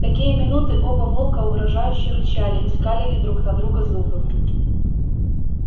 в такие минуты оба волка угрожающе рычали и скалили друг на друга зубы